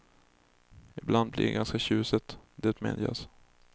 Ibland blir det ganska tjusigt, det medges.